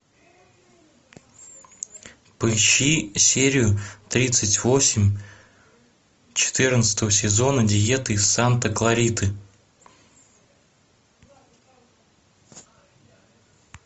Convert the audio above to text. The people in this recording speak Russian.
поищи серию тридцать восемь четырнадцатого сезона диеты из санта клариты